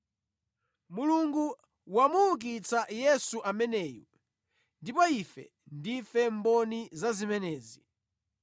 Mulungu wamuukitsa Yesu ameneyu, ndipo ife ndife mboni za zimenezi.